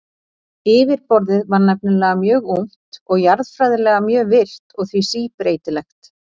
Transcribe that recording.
yfirborðið var nefnilega mjög ungt og jarðfræðilega mjög virkt og því síbreytilegt